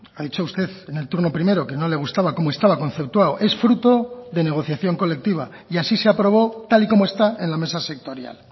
ha dicho usted en el turno primero que no le gustaba cómo estaba conceptuado es fruto de negociación colectiva y así se aprobó tal y como está en la mesa sectorial